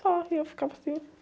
Só, e eu ficava assim.